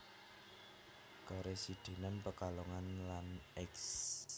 Karesidenan Pekalongan lan Eks